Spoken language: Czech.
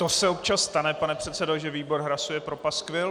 To se občas stane, pane předsedo, že výbor hlasuje pro paskvil.